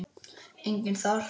Enginn þar?